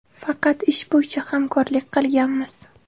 Faqat ish bo‘yicha hamkorlik qilganmiz.